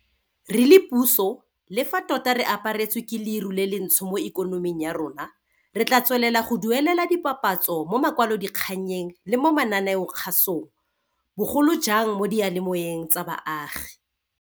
Re le puso, le fa tota re aparetswe ke leru le lentsho mo ikonoming ya rona, re tla tswelela go duelela dipapatso mo makwalodikganyeng le mo mananeokgasong, bo golojang mo diyalemoweng tsa baagi.